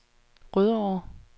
Rødovre